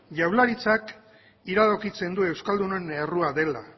jaurlaritzak iradokitzen du euskaldunon errua dela